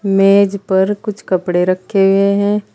मेज पर कुछ कपड़े रखे हुए हैं।